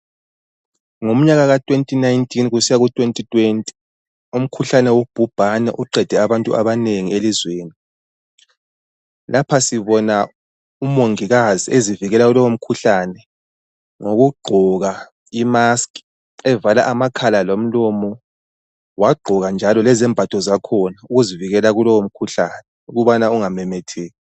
Ngomnyaka ka2019 kusiya ku2020 umkhuhlane wobhubhane uqede abantu abanengi elizweni. lapha sibona umongikazi ezivikela ngokugqoka imask evala amakhala lomlomo wagqoka njalo lezembatho zakhona ezivivikela kulowo mkhuhlane ukubana ungamemetheki.